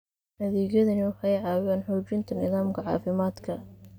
Adeegyadani waxay caawiyaan xoojinta nidaamka caafimaadka.